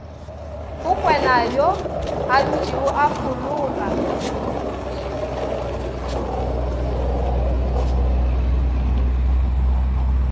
go kwenayo adutšego a folaka